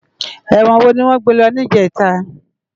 Èwòn wó niwòn gbé lò nijètá?